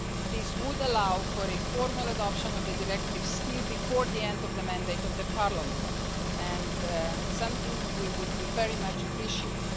This would allow for a formal adoption of the directive still before the end of the mandate of Parliament, and this is something we would very much appreciate.